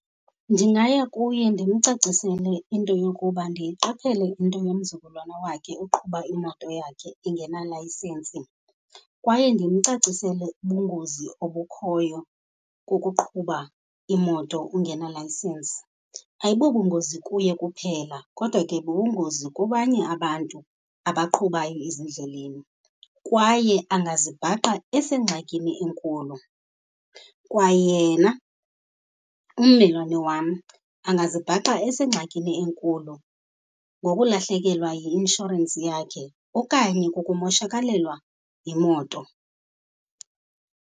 Ndingaya kuye ndimcacisele into yokuba ndiyiqaphele into yomzukulwana wakhe oqhuba imoto yakhe engenalayisensi kwaye ndimcacisele ubungozi obukhoyo kukuqhuba imoto ungenalayisensi. Ayibobungozi kuye kuphela kodwa ke bubungozi kubanye abantu abaqhubayo ezindleleni, kwaye angazibhaqa esengxakini enkulu. Kwayena ummelwane wam angazibhaqa esengxakini enkulu ngokulahlekelwa yi-inshorensi yakhe, okanye kukumoshakalelwa yimoto.